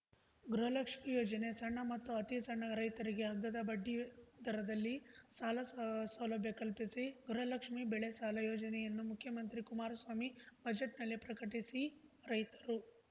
ಗೃಹಲಕ್ಷ್ಮಿ ಯೋಜನೆ ಸಣ್ಣ ಮತ್ತು ಅತಿಸಣ್ಣ ರೈತರಿಗೆ ಹಗ್ಗದ ಬಡ್ಡಿ ದರದಲ್ಲಿ ಸಾಲ ಸಾ ಸೌಲಭ್ಯ ಕಲ್ಪಿಸಿ ಗೃಹಲಕ್ಷ್ಮಿ ಬೆಳೆ ಸಾಲ ಯೋಜನೆಯನ್ನು ಮುಖ್ಯಮಂತ್ರಿ ಕುಮಾರಸ್ವಾಮಿ ಬಜೆಟ್‌ನಲ್ಲಿ ಪ್ರಕಟಿಸಿ ರೈತರು